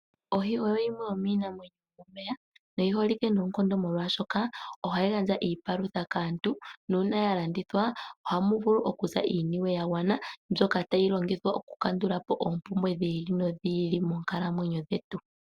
Ohi oyo yimwe yomiinamwenyo yomeya yi holike noonkondo molwaashoka oha yi gandja iipalutha kaantu nangele ya landithwa ohamu vulu okuza iiniwe ya gwana mbyoka tayi vulu oku kandula po oompumbwe dhi ili nodhi ili moonkalamwenyo dhetu.